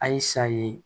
A ye saye